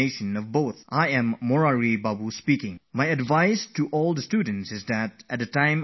"I am Murari Bapu speaking and I would like to tell my student friends not to carry any load on their minds during the exams